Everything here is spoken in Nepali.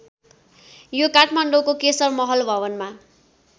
यो काठमाडौँको केशर महल भवनमा